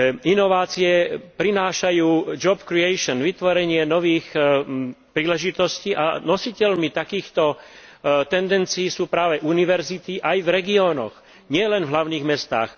Inovácie prinášajú vytvorenie nových príležitostí a nositeľmi takýchto tendencií sú práve univerzity aj v regiónoch, nielen v hlavných mestách.